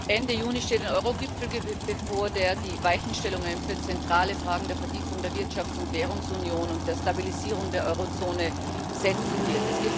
Ende Juni steht ein Euro Gipfel bevor, der die Weichenstellungen für zentrale Fragen der Vertiefung der Wirtschafts und Währungsunion und der Stabilisierung der Euro Zone vornehmen wird.